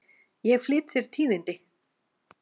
Ég flyt þér tíðindi!